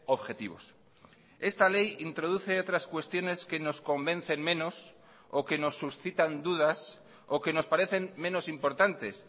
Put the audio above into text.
objetivos esta ley introduce otras cuestiones que nos convencen menos o que nos suscitan dudas o que nos parecen menos importantes